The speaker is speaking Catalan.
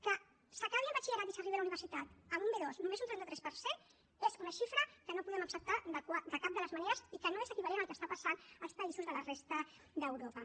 que acabi el batxillerat i arribi a la universitat amb un b2 només un trenta tres per cent és una xifra que no podem acceptar de cap de les maneres i que no és equivalent al que està passant als països de la resta d’europa